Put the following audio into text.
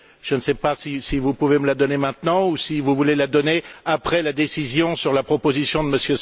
Je ne sais pas si vous pouvez me la donner maintenant ou si vous voulez la donner après la décision sur la proposition de M.